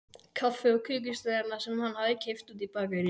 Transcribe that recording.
Kaffi og kökusneiðina sem hann hafði keypt úti í bakaríi.